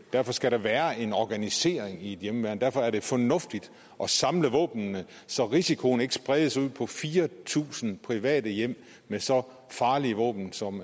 derfor skal der være en organisering i et hjemmeværn og derfor er det fornuftigt at samle våbnene så risikoen ikke spredes ud på fire tusind private hjem med så farlige våben som